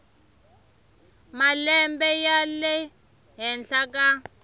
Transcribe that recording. malembe ya le henhla ka